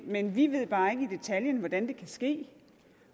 men vi ved bare ikke i detaljen hvordan det kan ske